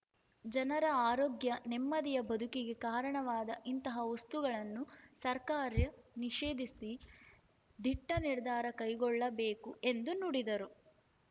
ಜನರ ಆರೋಗ್ಯ ನೆಮ್ಮದಿಯ ಬದುಕಿಗೆ ಕಾರಣವಾದ ಇಂತಹ ವಸ್ತುಗಳನ್ನು ಸರ್ಕಾರ್ಯ ನಿಷೇಧಿಸಿ ದಿಟ್ಟನಿರ್ಧಾರ ಕೈಗೊಳ್ಳಬೇಕು ಎಂದು ನುಡಿದರು